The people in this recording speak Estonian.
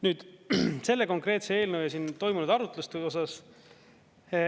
Nüüd selle konkreetse eelnõu ja siin toimunud arutluse osas.